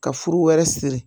Ka furu wɛrɛ siri